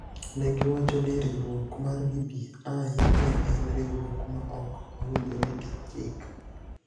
Ne giwacho ni riwruok mar BBI ne en riwruok ma ok owinjore gi chik.